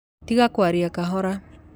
Tiga kwaria kahora.